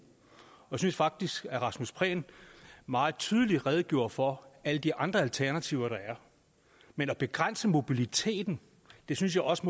jeg synes faktisk at rasmus prehn meget tydeligt redegjorde for alle de andre alternativer der er men at begrænse mobiliteten synes jeg også